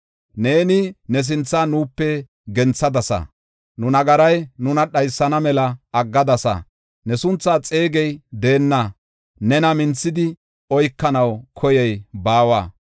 Neeni ne sinthaa nuupe genthadasa; nu nagaray nuna dhaysana mela aggadasa. Ne sunthaa xeegey deenna; nena minthidi oykanaw koyey baawa.